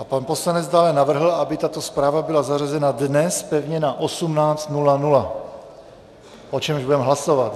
A pan poslanec dále navrhl, aby tato zpráva byla zařazena dnes pevně na 18.00, o čemž budeme hlasovat.